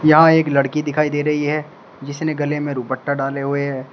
यहां एक लड़की दिखाई दे रही है जिसने गले में दुपट्टा डाले हुए है।